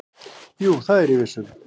"""Jú, það er ég viss um."""